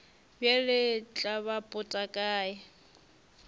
bjale tla ba pota kae